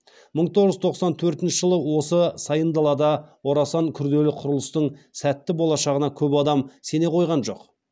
мың тоғыз жүз тоқсан төртінші жылы осы сайын далада орасан күрделі құрылыстың сәтті болашағына көп адам сене қойған жоқ